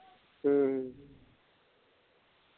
ਹਮ